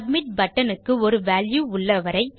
submit button க்கு ஒரு value உள்ளவரை